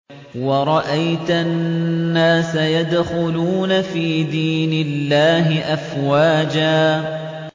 وَرَأَيْتَ النَّاسَ يَدْخُلُونَ فِي دِينِ اللَّهِ أَفْوَاجًا